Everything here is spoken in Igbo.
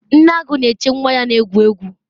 nne agu na-eche nwa ya egwu egwu